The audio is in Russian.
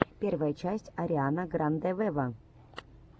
первая часть ариана гранде вево